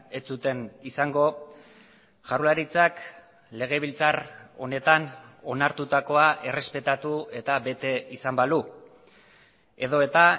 ez zuten izango jaurlaritzak legebiltzar honetan onartutakoa errespetatu eta bete izan balu edota